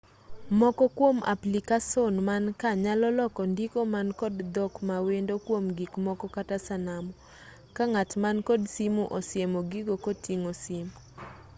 moko kuom aplicason mankaa nyalo loko ndiko man kod dhok mawendo kuom gikmoko kata sanamu ka ng'at man kod simu osiemo gigo koting'o simu